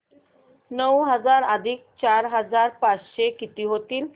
नऊ हजार अधिक चार हजार पाचशे किती होतील